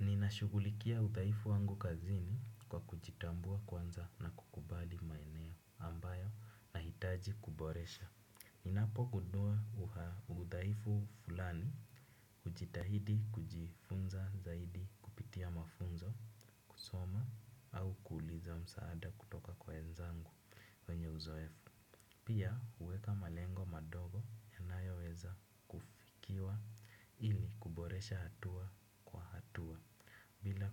Ninashugulikia udhaifu wangu kazini kwa kujitambua kwanza na kukubali maeneo ambayo nahitaji kuboresha. Ninapogundua udhaifu fulani, hujitahidi kujifunza zaidi kupitia mafunzo, soma, au kuuliza msaada kutoka kwa wenzangu wenye uzoefu. Pia uweka malengo madogo yanayo weza kufikiwa ili kuboresha hatua kwa hatua. Pia uweka malengo madogo yanayoweza kufikiwa ili